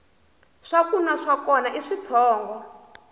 swakunwa na swona i switshongo